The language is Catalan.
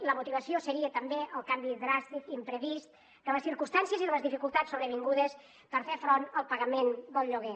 i la motivació seria també el canvi dràstic i imprevist de les circumstàncies i de les dificultats sobrevingudes per fer front al pagament del lloguer